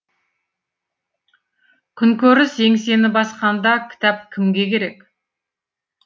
күнкөріс еңсені басқанда кітап кімге керек